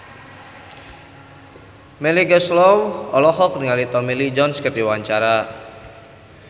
Melly Goeslaw olohok ningali Tommy Lee Jones keur diwawancara